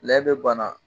Lɛ bɛ bana